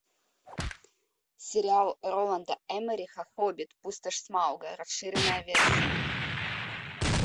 сериал роланда эммериха хоббит пустошь смауга расширенная версия